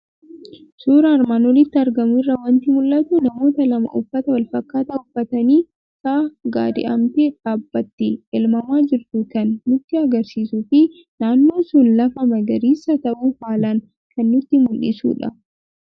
Suura armaan olitti argamu irraa waanti mul'atu; namoota lama uffata wal fakkaata uffataniifi Sa'a gaadi'amtee dhaabbattee elmamaa jirtu kan nutti agarsiisufi naannoo sun lafa magariisa ta'uu haalan kan nutti mul'isudha.